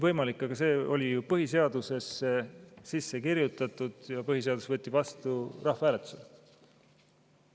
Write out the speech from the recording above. Võimalik, aga see oli ju põhiseadusesse sisse kirjutatud ja põhiseadus võeti vastu rahvahääletusel.